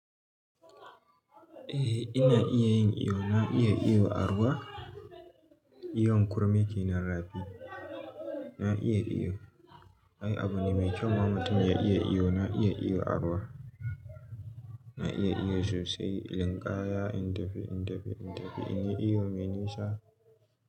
Eh ina iya yin iyo, na iya iyo a ruwa. Iyon kurmi ke nan rabi. Na iya iyo. Ai abu ne mai kyau ma mutum ya iya iyo. Na iya iyo a ruwa. Na iya iyo sosai. Linkaya in tafi, in tafi, in tafi. Inyi iyo mai nisa.